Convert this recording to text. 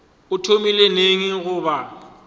o thomile neng go ba